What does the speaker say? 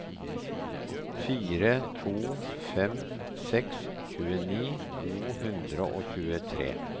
fire to fem seks tjueni to hundre og tjuetre